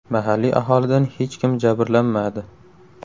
Mahalliy aholidan hech kim jabrlanmadi.